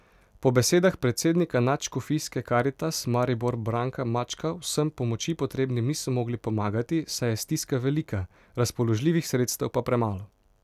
Po besedah predsednika Nadškofijske Karitas Maribor Branka Mačka vsem pomoči potrebnim niso mogli pomagati, saj je stiska velika, razpoložljivih sredstev pa premalo.